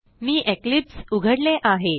मी Eclipse उघडले आहे